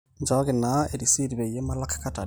nchooki naa erisit peyie malak kat aare